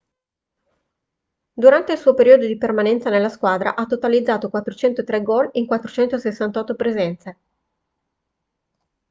durante il suo periodo di permanenza nella squadra ha totalizzato 403 gol in 468 presenze